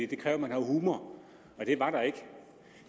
det kræver at man har humor og det var der ikke